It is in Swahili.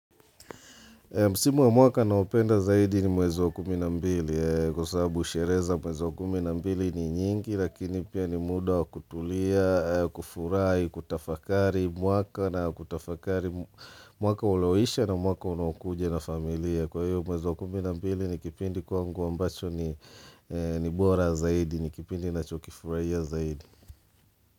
Msimu wa mwaka naopenda zaidi ni mwezi wa kumi nambili kwa sabu sheree za mwezi wa kumi na mbili ni nyingi lakini pia ni muda wa kutulia, kufurai, kutafakari mwaka na kutafakari mwaka uloisha na mwaka unaokuja na familia. Kwa hiyo mwezi wa kumi na mbili ni kipindi kwangu ambacho ni ni bora zaidi, ni kipindi nachokifuraia zaidi.